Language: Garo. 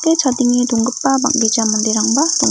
chadenge donggipa bang·gija manderangba donga.